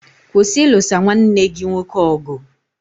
Kwụsị ilusa nwanne gị nwoke ọgụ!